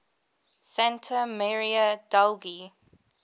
santa maria degli